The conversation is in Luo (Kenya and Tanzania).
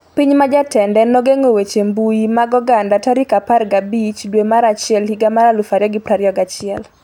Piny ma jatende nogeng'o weche mbui mag oganda 15 dwe mar achiel higa mar 2021